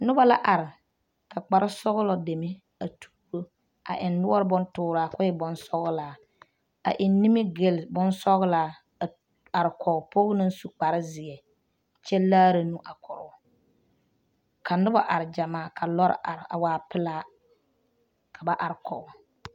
Noba la are ka kparesɔɡlɔ deme a tuuro a eŋ noɔre bontuuraa ka o e bonsɔɡelaa a eŋ nimiɡyili bonsɔɡlaa a arekɔɡe pɔɡe naŋ su kparezeɛ kyɛ laara nu a korɔ o ka noba are ɡyamaa ka lɔre are a waa pelaa ka ba arekɔɡe